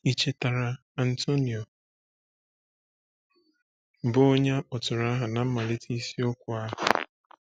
Ì chetara Antonio, bụ́ onye a kpọtụrụ aha ná mmalite isiokwu ahụ?